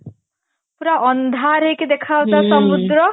ପୁରା ଅନ୍ଧାର ହେଇକି ଦେଖାଯାଉଥିଲା ସମୁଦ୍ର